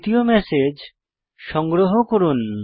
তৃতীয় ম্যাসেজ সংগ্রহ করুন